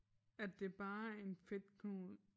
At det bare er en fedtknude